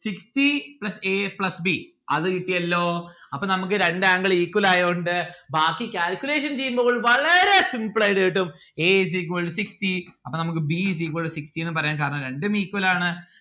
sixty plus a plus b അത് കിട്ടിയല്ലോ അപ്പൊ നമ്മുക്ക് രണ്ട് angle equal ആയോണ്ട് ബാക്കി calculation ചെയ്യുമ്പോൾ വളരെ simple ആയിട്ട് കിട്ടും a is equal to sixty അപ്പൊ നമ്മുക്ക് b is equal to sixty എന്ന് പറയാം കാരണം രണ്ടും equal ആണ്.